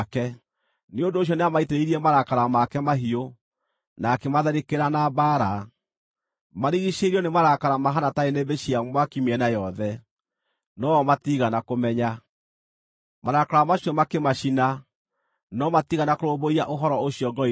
Nĩ ũndũ ũcio nĩamaitĩrĩirie marakara make mahiũ, na akĩmatharĩkĩra na mbaara. Maarigiicĩirio nĩ marakara mahaana ta nĩnĩmbĩ cia mwaki mĩena yothe, no-o matiigana kũmenya. Marakara macio makĩmacina, no matiigana kũrũmbũiya ũhoro ũcio ngoro-inĩ ciao.